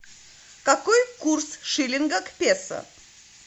какой курс шиллинга к песо